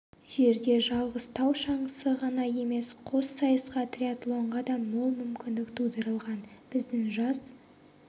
жерде жалғыз тау шаңғысы ғана емес қос сайысқа триатлонға да мол мүмкіндік тудырылған біздің жас